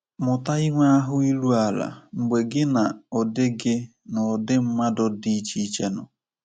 Mụta inwe ahụ́ iru ala mgbe gị na ụdị gị na ụdị mmadụ dị iche iche nọ.